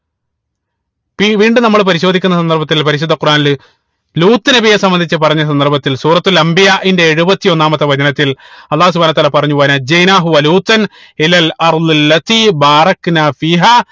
ഇപ്പൊ ഈ വീണ്ടും നമ്മള് പരിശോധിക്കുന്ന സന്ദർഭത്തിൽ പരിശുദ്ധ ഖുറാനിൽ ലൂത്ത് നബിയെ സംബന്ധിച്ച് പറഞ്ഞ സന്ദർഭത്തിൽ അംബിയാഇന്റെ എഴുപത്തി ഒന്നാം വചനത്തിൽ അള്ളാഹു സുബ്‌ഹാനഉ വതാല പറഞ്ഞു